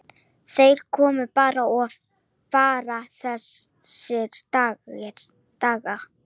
Þeir koma bara og fara þessir dagar.